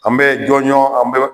An bɛ jɔnjɔn an bɛ